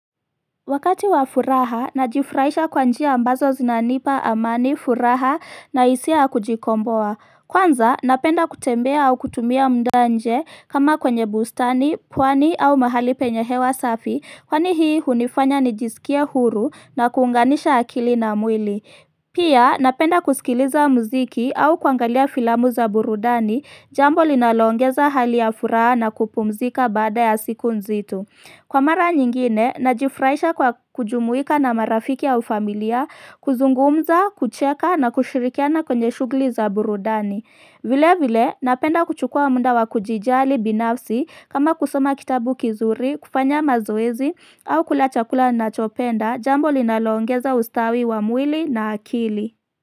Wakati wa furaha, najifurahisha kwa njia ambazo zinanipa amani furaha na hisia kujikomboa. Kwanza, napenda kutembea au kutumia muda nje kama kwenye bustani, pwani au mahali penye hewa safi, kwani hii hunifanya nijisikia huru na kuunganisha akili na mwili. Pia, napenda kusikiliza mziki au kuangalia filamu za burudani jambo linalongeza hali ya furaha na kupumzika baada ya siku nzito. Kwa mara nyingine, najifurahisha kwa kujumuika na marafiki au familia, kuzungumza, kucheka na kushirikiana kwenye shughuli za burudani. Vile vile, napenda kuchukua muda wa kujijali binafsi kama kusoma kitabu kizuri, kufanya mazoezi au kula chakula nachopenda, jambo linaloongeza ustawi wa mwili na akili.